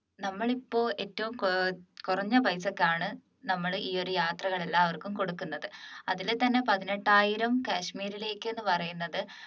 നമ്മൾ ഇപ്പോൾ ഏറ്റവും ഏർ കുറഞ്ഞ പൈസക്കാണ് നമ്മൾ ഈ ഒരു യാത്ര എല്ലാവർക്കും കൊടുക്കുന്നത് അതിൽ തന്നെ പതിനെട്ടായിരം കാശ്മീരിലേക്ക് എന്ന് പറയുന്നത്